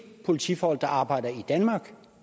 politifolk der arbejder i danmark